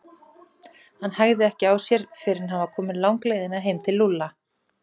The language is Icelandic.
Hann hægði ekki á sér fyrr en hann var kominn langleiðina heim til Lúlla.